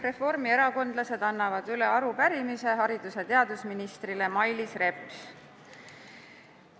Reformierakondlased annavad üle arupärimise haridus- ja teadusministrile Mailis Repsile.